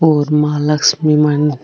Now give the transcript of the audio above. और माँ लक्ष्मी मन --